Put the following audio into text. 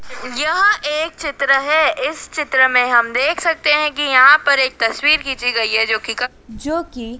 यह एक चित्र है इस चित्र में हम देख सकते हैं कि यहां पर एक तस्वीर खींची गई है जो कि जो कि--